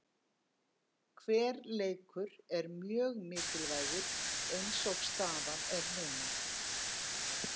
Hver leikur er mjög mikilvægur eins og staðan er núna.